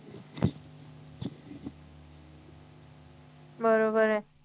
बरोबर आहे